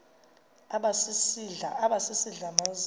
aba sisidl amazimba